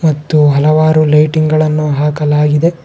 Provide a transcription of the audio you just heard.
ಮತ್ತು ಹಲವಾರು ಲೈಟಿಂಗ್ ಗಳನ್ನು ಹಾಕಲಾಗಿದೆ.